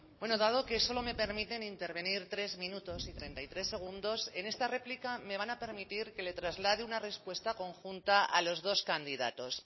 bueno dado que solo me permiten intervenir tres minutos y treinta y tres segundos en esta réplica me van a permitir que le traslade una respuesta conjunta a los dos candidatos